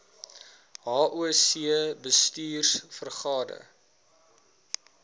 hoc bestuurs vergade